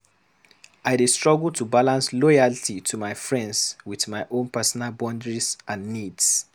I dey struggle to balance loyalty to my friends with my own personal boundaries and needs.